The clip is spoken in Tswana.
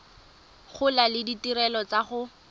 gola le ditirelo tsa go